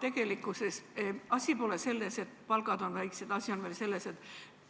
Tegelikkuses pole asi selles, et palgad on väiksed, asi on veel selles, et